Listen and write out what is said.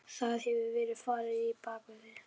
Það hefur verið farið á bak við þig.